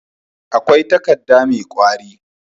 akwai takadda me kwari